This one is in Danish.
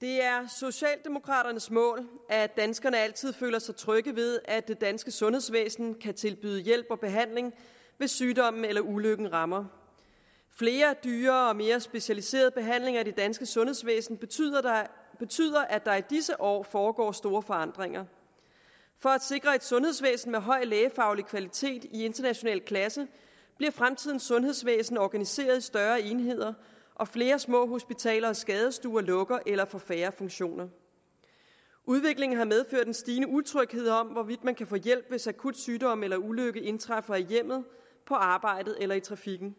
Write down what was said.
det er socialdemokraternes mål at danskerne altid føler sig trygge ved at det danske sundhedsvæsen kan tilbyde hjælp og behandling hvis sygdommen eller ulykken rammer flere og dyrere og mere specialiserede behandlinger i det danske sundhedsvæsen betyder betyder at der i disse år foregår store forandringer for at sikre et sundhedsvæsen med høj lægefaglig kvalitet i international klasse bliver fremtidens sundhedsvæsen organiseret i større enheder og flere små hospitaler og skadestuer lukker eller får færre funktioner udviklingen har medført en stigende utryghed om hvorvidt man kan få hjælp hvis akut sygdom eller ulykke indtræffer i hjemmet på arbejdet eller i trafikken